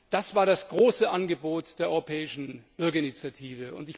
Das war das große Angebot der Europäischen Bürgerinitiative.